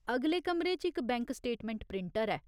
अगले कमरे च इक बैंक स्टेटमैंट प्रिंटर ऐ।